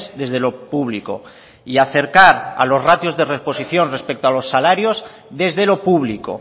desde lo público y acercar a los ratios de reposición respecto a los salarios desde lo público